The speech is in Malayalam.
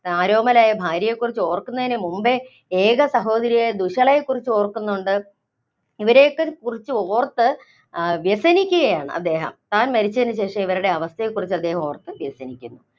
ആരോമലായ ഭാര്യയെക്കുറിച്ച് ഓര്‍ക്കുന്നതിനു മുമ്പേ ഏക സഹോദരിയായ ദുശ്ശളയെ ക്കുറിച്ച് ഓര്‍ക്കുന്നുണ്ട്. ഇവരയൊക്കെക്കുറിച്ച് ഓര്‍ത്ത് ആ വ്യസനിക്കുകയാണ് അദ്ദേഹം. താന്‍ മരിച്ചതിനുശേഷം അവരുടെ അവസ്ഥയെക്കുറിച്ച് അദ്ദേഹം ഓര്‍ത്ത് വ്യസനിക്കുന്നു.